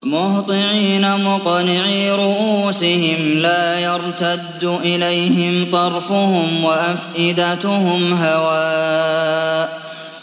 مُهْطِعِينَ مُقْنِعِي رُءُوسِهِمْ لَا يَرْتَدُّ إِلَيْهِمْ طَرْفُهُمْ ۖ وَأَفْئِدَتُهُمْ هَوَاءٌ